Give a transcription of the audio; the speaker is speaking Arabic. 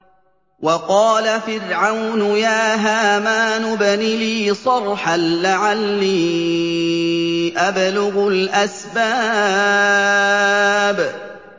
وَقَالَ فِرْعَوْنُ يَا هَامَانُ ابْنِ لِي صَرْحًا لَّعَلِّي أَبْلُغُ الْأَسْبَابَ